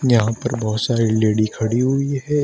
यहां पर बहोत सारी लेडी खड़ी हुई है।